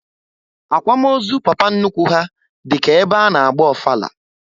Akwamozu papa nnukwu ha dịka egbe ana agba ofala